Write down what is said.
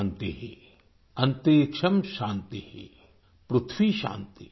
शान्तिरन्तरिक्षॅं शान्ति